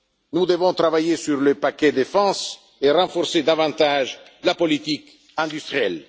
Nous devons travailler sur le paquet défense et renforcer davantage la politique industrielle.